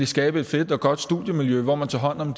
skabe et fedt og godt studiemiljø hvor man tager hånd om